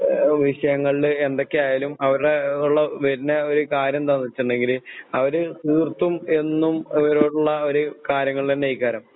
ആഹ് വിഷയങ്ങളില് എന്തൊക്കെയായാലും അവരുടെയുള്ളപിന്നെയൊരുകാര്യം എന്താന്നുവെച്ചിണ്ടെങ്കില് അവര്തീർത്തും എന്നും അവരോടുള്ള ഒരു